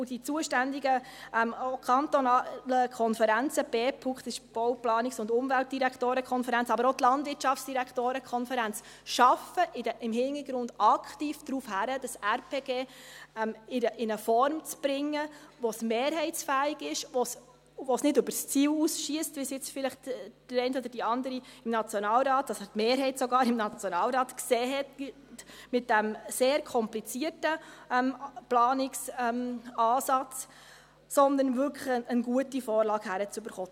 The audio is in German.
Die zuständigen kantonalen Konferenzen – die Bau-, Planungs- und UmweltdirektorenKonferenz (BPUK), aber auch die Konferenz der kantonalen Landwirtschaftsdirektoren (Landwirtschaftsdirektorenkonferenz, LDK) – arbeiten im Hintergrund aktiv darauf hin, das RPG in eine Form zu bringen, die mehrheitsfähig ist und die mit diesem sehr komplizierten Planungsansatz nicht über das Ziel hinausschiesst – so, wie es jetzt sogar die Mehrheit im Nationalrat gesehen hat –, sondern wirklich eine gute Vorlage hinzubekommen.